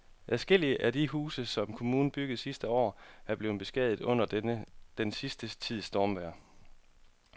Adskillige af de huse, som kommunen byggede sidste år, er blevet beskadiget under den sidste tids stormvejr.